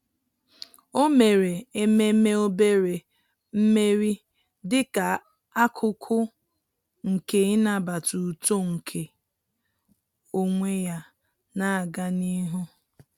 Ọ́ mèrè ememe obere mmeri dịka ákụ́kụ́ nke ị́nàbàtá uto nke onwe ya nà-ágá n’ihu.